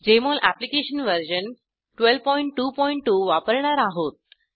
Jmol application version 1222 वापरणार आहोत